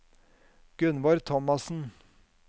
Gunvor Thomassen